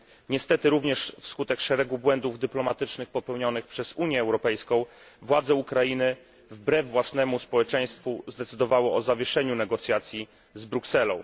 Niestety również w skutek szeregu błędów dyplomatycznych popełnionych przez Unię Europejską władze Ukrainy wbrew własnemu społeczeństwu zdecydowały o zawieszeniu negocjacji z Brukselą.